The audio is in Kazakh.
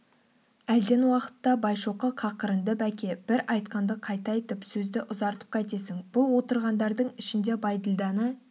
әлден уақытта байшоқы қақырынды бәке бір айтқанды қайта айтып сөзді ұзартып қайтесің бұл отырғандардың ішінде бәйділданы